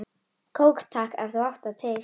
Kók takk, ef þú átt það til!